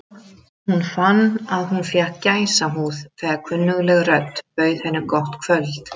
Hún fann að hún fékk gæsahúð þegar kunnugleg rödd bauð henni gott kvöld.